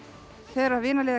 þegar